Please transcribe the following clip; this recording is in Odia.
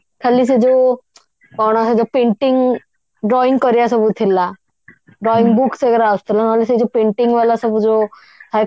ଖାଲି ସେ ଯୋ କଣ ସେ ଯୋ painting drawing କରିବା ସବୁ ଥିଲା drawing books वगेरा ଆସୁଥିଲା ନହେଲେ ସେଇ ଯଉ painting ବାଲା ସବୁ ଯଉ ଥାଏ